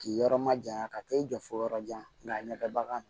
K'i yɔrɔ majanya ka t'i jɔ fo yɔrɔ jan a ɲɛ bɛ bagan kan